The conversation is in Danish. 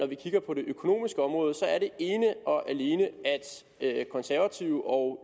vi kigger på det økonomiske område er ene og alene at konservative og